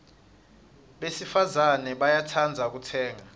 besifazana bayatsandza kutsenga